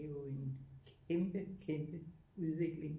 Det er jo en kæmpe kæmpe udvikling